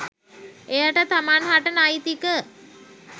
එයට තමන්හට නෛතික